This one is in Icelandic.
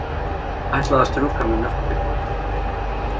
Ætlaði að strjúka með mjólkurbílnum.